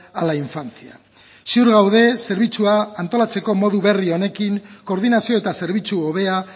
a la infancia ziur gaude zerbitzua antolatzeko modu berri honekin koordinazio eta zerbitzu hobea